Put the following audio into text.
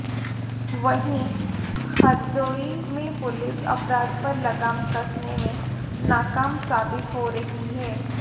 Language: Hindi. वहीं हरदोई में पुलिस अपराध पर लगाम कसने में नाकाम साबित हो रही है